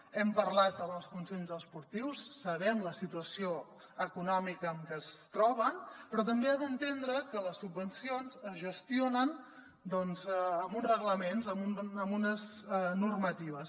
hem parlat amb els consells esportius sabem la situació econòmica en què es troben però també ha d’entendre que les subvencions es gestionen doncs amb uns reglaments amb unes normatives